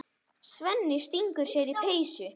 Svenni stingur sér í peysu.